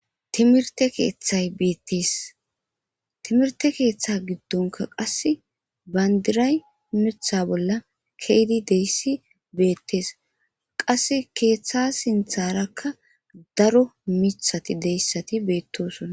timirte keeththay betis timirte keeththe giddonka qasse bandiray mitha bolla keydi deyssi beettes qasse keeththa sintharakka daro mithati deyssati beettosonna